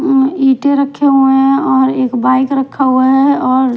यहाँ ईंटे रखे हुए हैं और एक बाइक रखा हुआ है और --